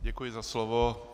Děkuji za slovo.